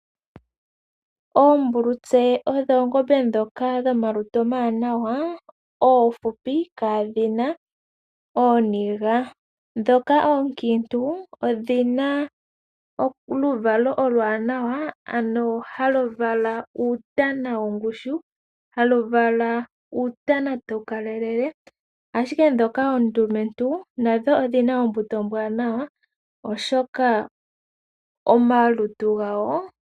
Oombulutse odho oongombe dhomalutu omawanawa oofupi kaadhina ooniga. Odhina omaluvalo omawanawa ano halu vala uutana wongushu , hadhi vala woo uutana tawu kalele. Ihe naandhoka oondumentu nadho odhina oombuto ombwaanawa.